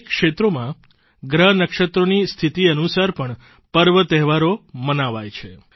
અનેક ક્ષેત્રોમાં ગ્રહ નક્ષત્રોની સ્થિતિ અનુસાર પણ પર્વતહેવારો મનાવાય છે